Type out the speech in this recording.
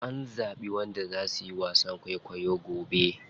An zaɓi wanda za suyi wasan kwaikwayo gobe.